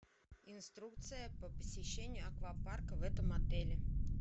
инструкция по посещению аквапарка в этом отеле